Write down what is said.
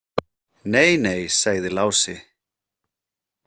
Nei, nei, sagði Lási.